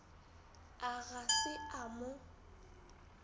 a ga se a mo